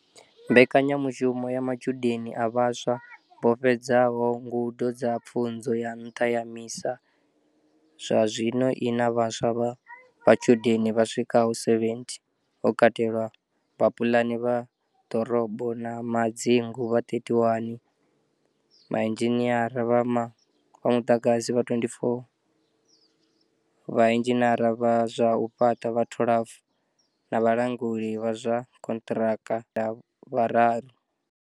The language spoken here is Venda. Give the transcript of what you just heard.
Mbekanyamushumo ya Matshudeni a Vhaswa vho fhedza ho ngudo dza pfunzo ya nṱha ya MISA zwa zwino i na vhaswa vha matshudeni vha swikaho 70, ho katelwa vhapulani vha ḓorobo na madzingu vha 31, vhainzhiniara vha muḓagasi vha 24, vhainzhiniara vha zwa u fhaṱa vha 12 na vhalanguli vha zwa khonthraka na thandela vhararu.